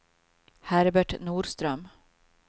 Herbert Norström